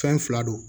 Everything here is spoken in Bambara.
Fɛn fila don